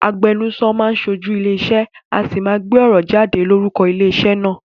Agbenuso máán ṣojú ilé ìṣe, a sì máa gbé ọ̀rọ̀ jáde lórúko ilé ìṣe naa